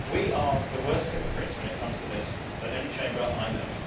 We are the worst hypocrites when it comes to this than any Chamber I know.